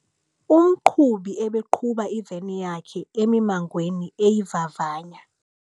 Umqhubi ebeqhuba iveni yakhe emimangweni eyivavanya.